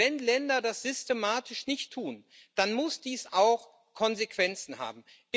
Und wenn Länder das systematisch nicht tun, dann muss dies auch Konsequenzen haben.